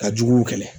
Ka jugu kɛlɛ